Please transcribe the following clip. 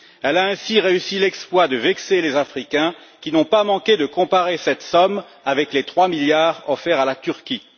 Elle a ainsi réussi l'exploit de vexer les Africains, qui n'ont pas manqué de comparer cette somme avec les 3 milliards offerts à la Turquie.